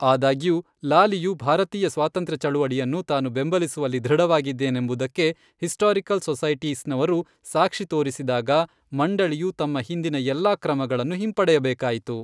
ಆದಾಗ್ಯೂ, ಲಾಲಿಯು ಭಾರತೀಯ ಸ್ವಾತಂತ್ರ್ಯ ಚಳವಳಿಯನ್ನು ತಾನು ಬೆಂಬಲಿಸುವಲ್ಲಿ ದೃಢವಾಗಿದ್ದನೆಂಬುದಕ್ಕೆ ಹಿಸ್ಟಾರಿಕಲ್ ಸೊಸೈಟೀಸ್ನವರು ಸಾಕ್ಷಿ ತೋರಿಸಿದಾಗ, ಮಂಡಳಿಯು ತಮ್ಮ ಹಿಂದಿನ ಎಲ್ಲಾ ಕ್ರಮಗಳನ್ನು ಹಿಂಪಡೆಯಬೇಕಾಯಿತು.